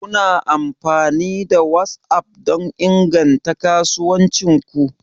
Kuna amfani da WhatsApp don inganta kasuwancin ku?